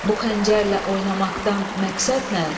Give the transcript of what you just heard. Bu xəncərlə oynamaqdan məqsəd nə?